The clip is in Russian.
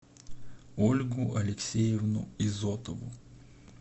ольгу алексеевну изотову